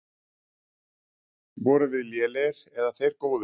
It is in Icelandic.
Vorum við lélegir eða þeir góðir?